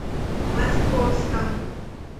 московском